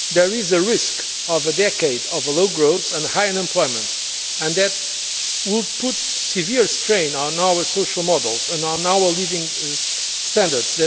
There is a risk of a decade of low growth and high unemployment, and that would put severe strain on our social models and our living standards.